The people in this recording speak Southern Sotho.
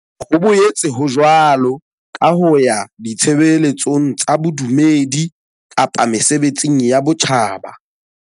Ho boetse ho jwalo ka ho ya ditshebe letsong tsa bodumedi kapa mesebetsing ya botjhaba.